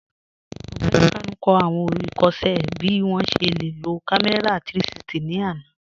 Ọgbẹni Kanu n kọ awọn ikọṣẹ bi wọn ṣe le lo kàmẹ̀rà 360 ni àná.